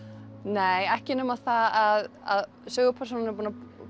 nei ekki nema að sögupersónan hefur